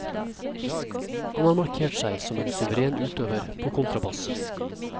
Han har markert seg som en suveren utøver på kontrabass.